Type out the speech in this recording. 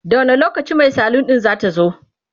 da wani lokacin Mai salun din zatazo?